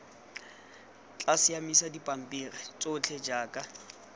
tla siamisa dipampiri tsotlhe jaaka